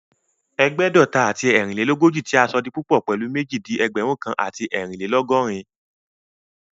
Ẹ̀gbẹ́dọ̀ta àti ẹ́ẹ̀rínlélógòjì tí a sọ di púpọ̀ pèlú méjì di Ẹgbẹ̀rún kan àti ẹ́ẹ̀rínlélọ́gọ́rin